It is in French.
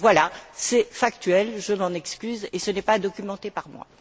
6. Voilà, c'est factuel, je m'en excuse et ce n'est pas documenté par moi.